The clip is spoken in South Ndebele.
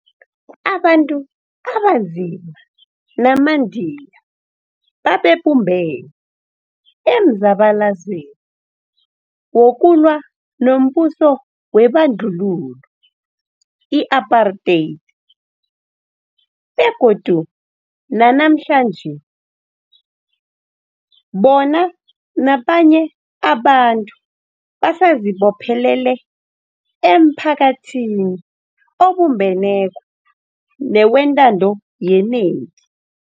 AbaNtu abaNzima namaNdiya babebumbene emzabalazweni wokulwa nombuso webandlululo, i-Apartheid, begodu nanamhlanje, bona nabanye abantu basazibophelele emphakathini obumbeneko newentando yenengi.